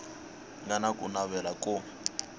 nga na ku navela ko